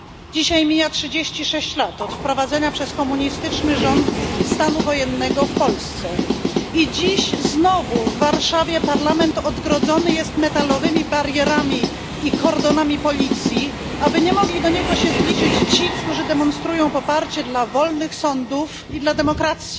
Dzisiaj mija 36 lat od wprowadzenia przez komunistyczny rząd stanu wojennego w Polsce i dziś znowu w Warszawie parlament odgrodzony jest metalowymi barierami i kordonami policji, aby nie mogli się do niego zbliżyć ci, którzy demonstrują poparcie dla wolnych sądów i dla demokracji.